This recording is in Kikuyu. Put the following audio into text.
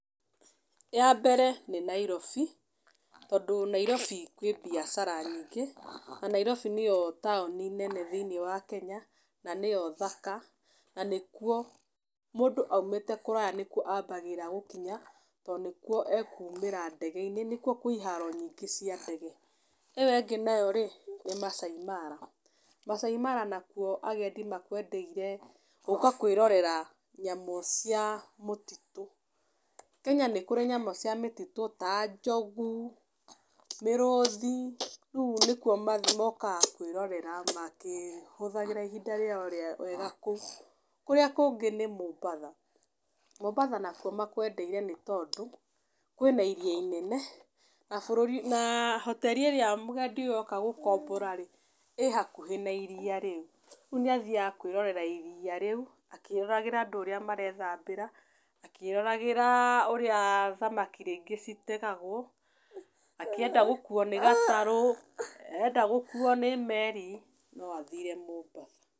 Ya mbere nĩ Nairobi, tondũ Nairobi kwĩ mbiacara nyingĩ, na Nairobi nĩyo taũni nene thĩniĩ wa Kenya na nĩyo thaka na nĩ kuo mũndũ aumĩte kũraya nĩkuo ambagĩra gũkinya to nĩkuo ekumĩra ndege-inĩ, nĩkuo kwĩ iharo nyingĩ cia ndege. ĩyo ĩngĩ nayo nĩ Maasai Mara, Maasai Mara nakuo agendi makwendeire gũka kwĩrore nyamũ cia mũtitũ. Kenya nĩ kũrĩ nyamũ cia mũtitũ ta njogu, mĩrũthi, rĩu nĩkuo mokaga kwĩrorera makĩhũthagĩra ihinda rĩao wega kũu. Kũrĩa kũngĩ nĩ Mombatha. Mombatha nakuo makwendeire nĩ tondũ kwĩna iria inene, na bũrũri na hoteri ĩrĩa mũgendi ũyũ oka gũkombora rĩ, ĩ hakuhĩ na iria rĩu, rĩu nĩ athiaga kwĩrorera iria rĩu akĩroragĩra andũ ũrĩa marethambĩra, akĩroragĩra ũrĩa thamaki rĩngĩ citegagwo, akĩenda gũkuo nĩ gatarũ, enda gũkuo nĩ meri, no athire Mombatha.